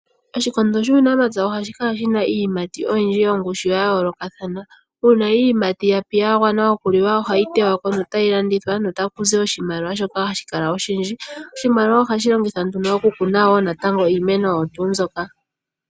Oshikondo shuunamapya oha shikala shi na iiyimati oyindji yongushu ya yoolokathana. Uuna iiyimati yapi yagwana okuliwa ohayi tewako no ta yi landithwa notakuzi oshimaliwa shoka hashi kala oshindji. Oshimaliwa shika oha shi longithwa nduno okukuna natango iimeno oyo tuu mbyoka.